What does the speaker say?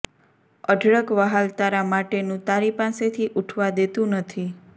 અઢળક વ્હાલ તારા માટેનું તારી પાસેથી ઊઠવા દેતું નથી